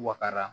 Wakara